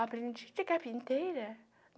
Aprendiz de carpinteira.